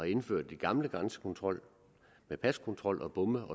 indført den gamle grænsekontrol med paskontrol og bomme